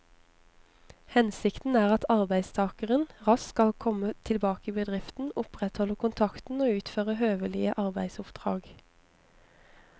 Hensikten er at arbeidstakeren raskt skal komme tilbake i bedriften, opprettholde kontakten og utføre høvelige arbeidsoppdrag.